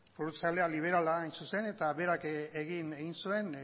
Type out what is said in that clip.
liberala hain zuzen eta berak egin zuen